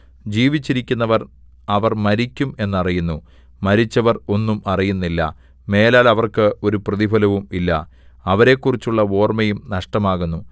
ജീവിച്ചിരിക്കുന്നവർ അവർ മരിക്കും എന്നറിയുന്നു മരിച്ചവർ ഒന്നും അറിയുന്നില്ല മേലാൽ അവർക്ക് ഒരു പ്രതിഫലവും ഇല്ല അവരെക്കുറിച്ചുള്ള ഓർമ്മയും നഷ്ടമാകുന്നു